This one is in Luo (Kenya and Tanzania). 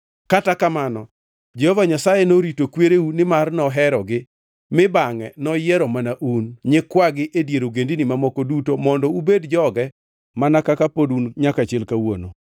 Kata kamano Jehova Nyasaye norito kwereu nimar noherogi mi bangʼe noyiero mana un, nyikwagi e dier ogendini mamoko duto mondo ubed joge mana kaka pod un nyaka chil kawuono.